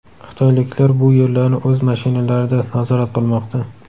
Xitoyliklar bu yerlarni o‘z mashinalarida nazorat qilmoqda.